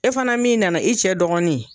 E fana min nana i cɛ dɔgɔnin